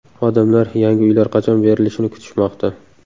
Odamlar yangi uylar qachon berilishini kutishmoqda.